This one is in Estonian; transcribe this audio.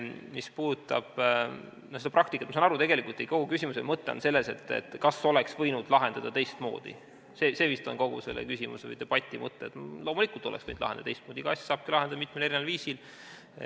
Mis puudutab seda praktikat – ma saan aru, et tegelikult teie kogu küsimuse mõte on selles, et kas oleks võinud lahendada seda teistmoodi, see vist on kogu selle küsimuse või debati mõte –, siis loomulikult oleks võinud lahendada teistmoodi, igat asja saabki lahendada mitmel viisil.